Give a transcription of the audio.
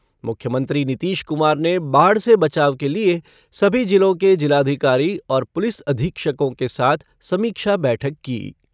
मुख्यमंत्री नीतीश कुमार ने बाढ़ से बचाव के लिये सभी जिलों के जिलाधिकारी और पुलिस अधीक्षकों के साथ समीक्षा बैठक की।